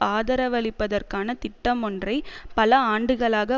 ஆதரவளிப்பதற்கான திட்டமொன்றை பல ஆண்டுகளாக